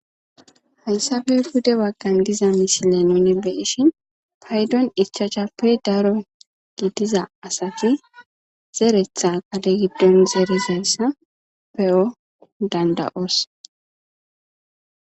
haysafe bude waggan diza misile nuni beishin paydon ichachappe daro gidiza asati zeretha qale giddon zeere zeresna pe7o danda7os